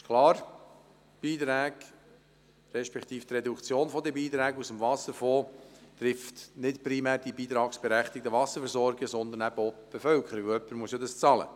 Es ist klar, die Reduktion der Beiträge aus dem Wasserfonds trifft nicht primär die beitragsberechtigten Wasserversorgungen, sondern eben auch die Bevölkerung, denn jemand muss ja dafür bezahlen.